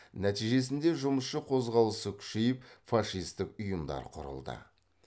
нәтижесінде жұмысшы қозғалысы күшейіп фашистік ұйымдар құрылды